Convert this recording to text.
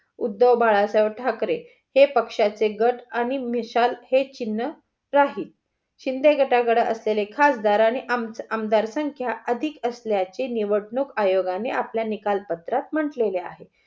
उद्धव बाळासाहेब ठाकरे हे पक्ष्याचे गट आणि मिसाल हे चिन्ह राहील. शिंदे गटाकडे असलेले खासदार आणि आमदार संख्या अधिक असल्याचे निवडणूक आयोगाने आपल्या निकाल पत्रात म्हंटले आहे.